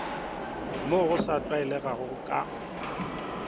mo go sa tlwaelegago ka